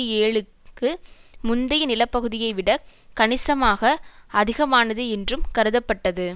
ஏழுக்கு முந்தைய நிலப்பகுதியைவிடக் கணிசமாக அதிகமானது என்றும் கருதப்பட்டது